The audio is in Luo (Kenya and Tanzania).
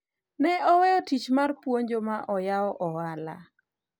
ne oweyo tich mar puonjo ma oyawo ohala